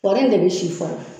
Kɔri de bɛ si fɔlɔ